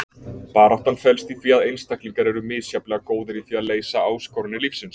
Baráttan felst í því að einstaklingar eru misjafnlega góðir í því að leysa áskoranir lífsins.